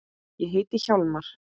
Ég heiti Hjálmar